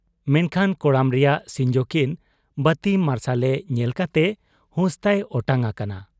ᱢᱮᱱᱠᱷᱟᱱ ᱠᱚᱲᱟᱢ ᱨᱮᱭᱟᱜ ᱥᱤᱧᱡᱚᱠᱤᱱ ᱵᱟᱹᱛᱤ ᱢᱟᱨᱥᱟᱞᱨᱮ ᱧᱮᱞ ᱠᱟᱛᱮ ᱦᱩᱥᱛᱟᱭ ᱚᱴᱟᱝ ᱟᱠᱟᱱᱟ ᱾